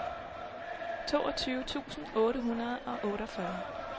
toogtyve tusind otte hundrede og otteogfyrre